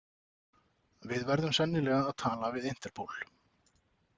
Við verðum sennilega að tala við interpol.